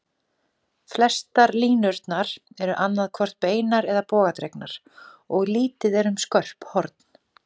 Flestar línurnar eru annað hvort beinar eða bogadregnar, og lítið er um skörp horn.